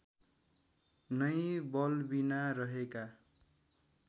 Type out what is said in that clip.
नै बलबिना रहेका